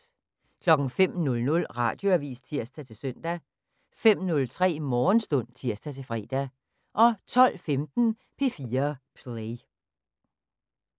05:00: Radioavis (tir-søn) 05:03: Morgenstund (tir-fre) 12:15: P4 Play